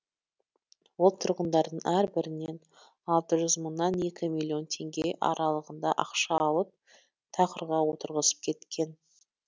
ол тұрғындардың әрбірінен алты жүз мыңнан екі миллион теңге аралығында ақша алып тақырға отырғызып кеткен